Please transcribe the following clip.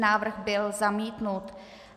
Návrh byl zamítnut.